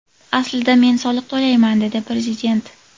Aslida men soliq to‘layman”, – dedi prezident.